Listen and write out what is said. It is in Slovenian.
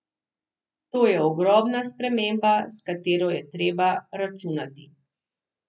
To je ogromna sprememba, s katero je treba računati.